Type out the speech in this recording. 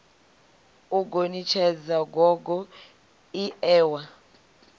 u gonitshedza gogo ie wa